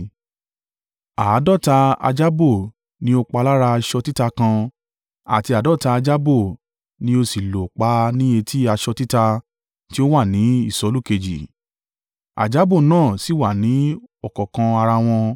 Àádọ́ta ajábó ní ó pa lára aṣọ títa kan, àti àádọ́ta ajábó ni ó sì lò pa ní etí aṣọ títa tí ó wà ní ìsolù kejì, ajábó náà sì wà ní ọ̀kánkán ara wọn.